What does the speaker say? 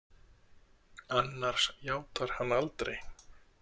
Annars játar hann aldrei.